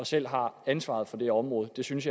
selv har ansvaret for det område jeg synes